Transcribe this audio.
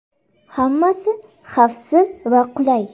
Hammasi xavfsiz va qulay.